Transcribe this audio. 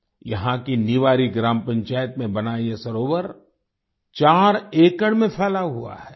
यहाँ की निवारी ग्राम पंचायत में बना ये सरोवर 4 एकड़ में फैला हुआ है